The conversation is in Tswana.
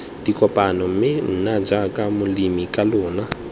dikopano mme nna jaaka molemikalona